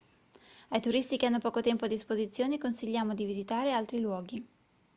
ai turisti che hanno poco tempo a disposizione consigliamo di visitare altri luoghi